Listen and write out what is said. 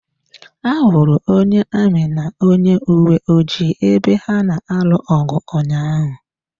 Ahụrụ onye amị na onye uwe ojii ebe ha na-alụ ọgụ ụnyaahụ.